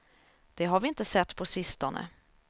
Det har vi inte sett på sistone.